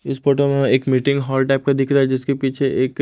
इस फोटो में हमें एक मीटिंग हॉल टाइप का दिख रा जिसके पीछे एक--